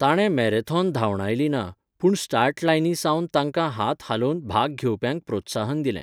ताणें मॅरेथॉन धांवडायली ना, पूण स्टार्ट लायनी सावन तांकां हात हालोवन भाग घेवप्यांक प्रोत्साहन दिलें.